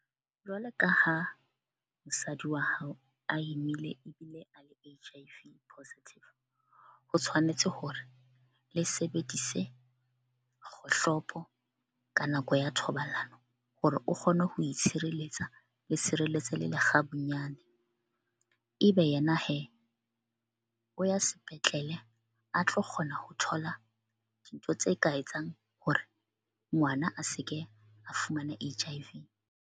Jwalo ka ha mosadi wa hao a imile ebile a le H_I _V positive. Ho tshwanetse hore le sebedise kgohlopo ka nako ya thobalano hore o kgone ho itshireletsa le tshireletse le lekgabunyane. Ebe yena o ya sepetlele a tlo kgona ho thola dintho tse ka etsang hore ngwana a se ke a fumana H_I_V.